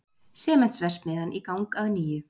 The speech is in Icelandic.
Sementsverksmiðjan í gang að nýju